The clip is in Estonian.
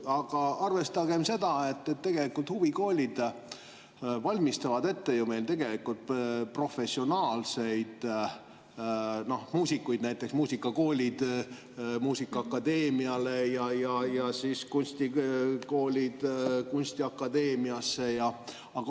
Aga arvestagem seda, et huvikoolid valmistavad meil tegelikult ette professionaalseid muusikuid, näiteks muusikakoolid muusikaakadeemiale ja kunstikoolid kunstiakadeemiale.